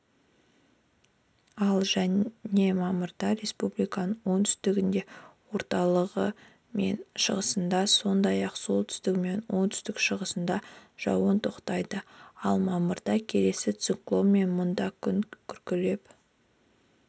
ал және мамырда республиканың оңтүстігінде орталығы мен шығысында сондай-ақ солтүстігі мен оңтүстік-шығысында жауын тоқтайды ал мамырда келесі циклонмен мұнда күн күркіреп